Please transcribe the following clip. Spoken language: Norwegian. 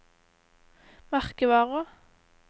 merkevarer